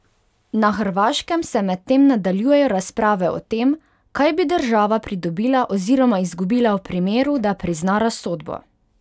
Na Hrvaškem se medtem nadaljujejo razprave o tem, kaj bi država pridobila oziroma izgubila v primeru, da prizna razsodbo?